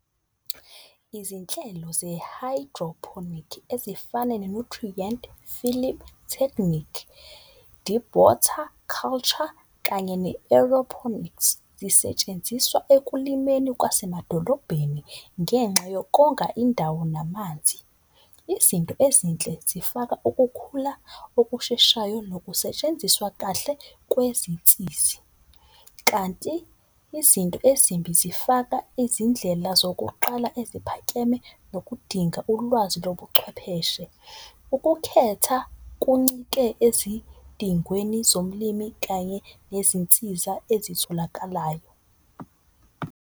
Izinhlelo ze-hydroponic ezifana ne-nutrient film technique, deep water culture kanye ne-aeroponics. Zisetshenziswa ekulimeni kwasemadolobheni ngenxa yokonga indawo namanzi. Izinto ezinhle zifaka ukukhula okusheshayo nokusetshenziswa kahle kwezinsizi. Kanti izinto ezimbi zifaka izindlela zokuqala eziphakeme nokudinga ulwazi lobuchwepheshe. Ukukhetha kuncike ezidingweni zomlimi kanye nezinsiza ezitholakalayo.